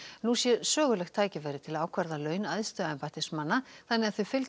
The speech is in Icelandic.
nú sé sögulegt tækifæri til að ákvarða laun æðstu embættismanna þannig að þau fylgi